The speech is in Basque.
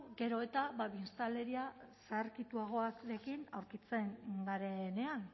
gero eta biztanleria zaharkituagoarekin aurkitzen garenean